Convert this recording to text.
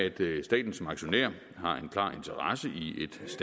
staten som aktionær har en klar interesse i